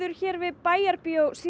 hér við Bæjarbíó í